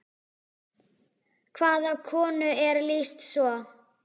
Hvaða konu er lýst svo?